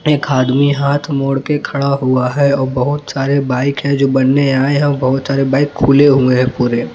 एक आदमी हाथ मोड़ के खड़ा हुआ है और बहुत सारे बाइक जो है बनाने आए है और बहुत सारे बाइक खुले हुए हैं पूरे।